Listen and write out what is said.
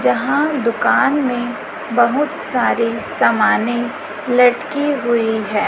जहाँ दुकान में बहुत सारे सामानें लटकी हुई है।